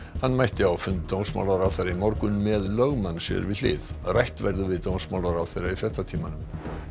hann mætti á fund dómsmálaráðherra í morgun með lögmann sér við hlið rætt verður við dómsmálaráðherra í fréttatímanum